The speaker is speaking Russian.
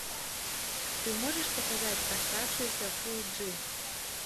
ты можешь показать оставшиеся фул джи